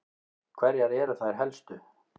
Hverjar eru þær helstu?